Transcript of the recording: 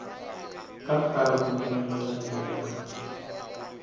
ka kgaruru ya melotšana ya